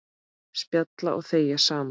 Spjalla og þegja saman.